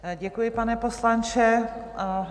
Děkuji, pane poslanče.